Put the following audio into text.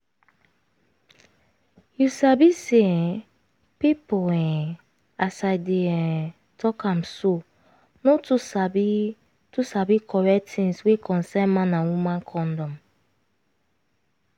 you sabi say um pipu um as i dey um talk am so no too sabi too sabi correct tins wey concern man and woman condom.